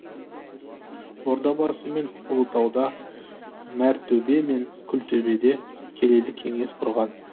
ордабасы мен ұлытауда мәртөбе мен күлтөбеде келелі кеңес құрған